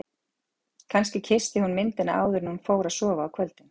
Kannski kyssti hún myndina áður en hún fór að sofa á kvöldin.